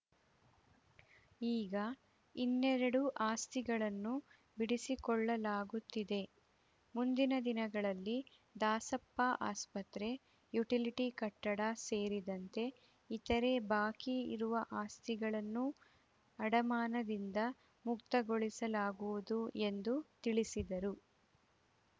ಈಗ ಇನ್ನೆರಡು ಆಸ್ತಿಗಳನ್ನು ಬಿಡಿಸಿಕೊಳ್ಳಲಾಗುತ್ತಿದೆ ಮುಂದಿನ ದಿನಗಳಲ್ಲಿ ದಾಸಪ್ಪ ಆಸ್ಪತ್ರೆ ಯುಟಿಲಿಟಿ ಕಟ್ಟಡ ಸೆರಿದಂತೆ ಇತರೆ ಬಾಕಿ ಇರುವ ಆಸ್ತಿಗಳನ್ನೂ ಅಡಮಾನದಿಂದ ಮುಕ್ತಗೊಳಿಸಲಾಗುವುದು ಎಂದು ತಿಳಿಸಿದರು